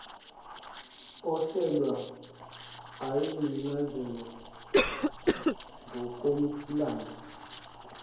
oselwa ayenencazelo ngokomlando